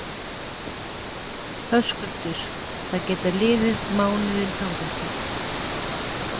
Höskuldur: Það geta liðið mánuðir þangað til?